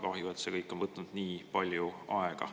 Kahju, et see kõik on võtnud nii palju aega.